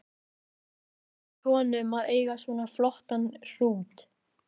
Hvernig finnst honum að eiga svona flottan hrút?